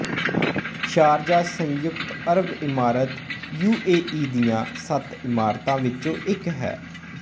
Sharjah ਸੰਯੁਕਤ ਅਰਬ ਇਮਰਾਤ ਯੂ ਏ ਈ ਦੀਆਂ ਸੱਤ ਇਮਰਾਤਾਂ ਚੋਂ ਇੱਕ ਹੈ